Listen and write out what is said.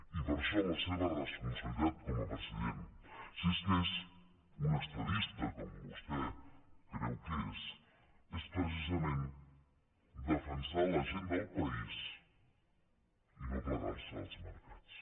i per això la seva responsabilitat com a president si és que és un estadista com vostè creu que és és precisament defensar la gent del país i no plegar se als mercats